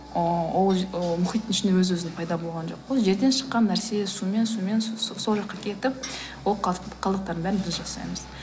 ол мұхиттың ішінде өз өзінен пайда болған жоқ қой жерден шыққан нәрсе сумен сумен сол жаққа кетіп ол қалдықтардың бәрін біз жасаймыз